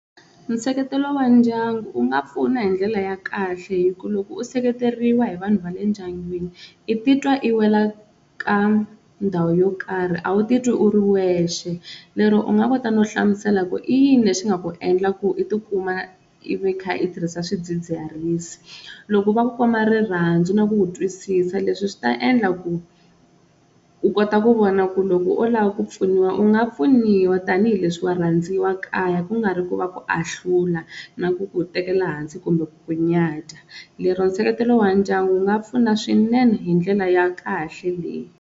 Nseketelo wa ndyangu u nga pfuna hi ndlela ya kahle hi ku loko u seketeriwa hi vanhu va le ndyangwini i ti twa i wela ka ndhawu yo karhi a wu titwi u ri wexe, lero u nga kota no hlamusela ku i yini lexi nga ku endla ku u tikuma i vi kha i tirhisa swidzidziharisi loko va komba rirhandzu na ku ku twisisa, leswi swi ta endla ku u kota ku vona ku loko o lava ku pfuniwa u nga pfuniwa tanihileswi wa rhandziwa kaya ku nga ri ku va ku ahlula na ku ku tekela hansi kumbe ku ku nyadya, lero nseketelo wa ndyangu wu nga pfuna swinene hi ndlela ya kahle leyi.